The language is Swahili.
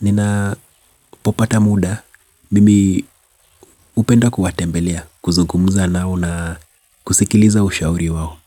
ninapopata muda Mimi upenda kuwatembelea kuzungumza nao na kusikiliza ushauri wao.